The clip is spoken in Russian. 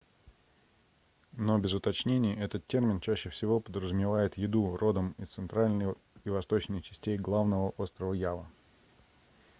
но без уточнений этот термин чаще всего подразумевает еду родом из центральной и восточной частей главного острова ява